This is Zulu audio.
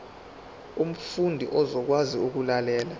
umfundi uzokwazi ukulalela